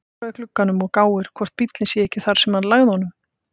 Gengur að glugganum og gáir hvort bíllinn sé ekki þar sem hann lagði honum.